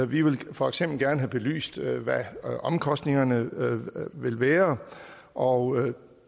vi vil for eksempel gerne have belyst hvad omkostningerne vil være og